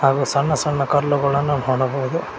ಗು ಸಣ್ಣ ಸಣ್ಣ ಕಲ್ಲುಗಳನ್ನು ಕಾಣಬಹುದು.